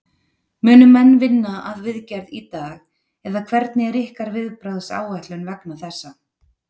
Munu menn vinna að viðgerð í dag eða hvernig er ykkar viðbragðsáætlun vegna þessa?